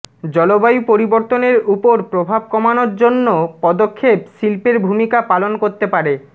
জলবায়ু পরিবর্তনের উপর প্রভাব কমানোর জন্য পদক্ষেপ শিল্পের ভূমিকা পালন করতে পারে